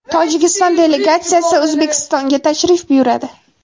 Tojikiston delegatsiyasi O‘zbekistonga tashrif buyuradi.